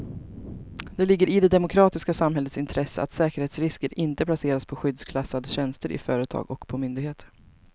Det ligger i det demokratiska samhällets intresse att säkerhetsrisker inte placeras på skyddsklassade tjänster i företag och på myndigheter.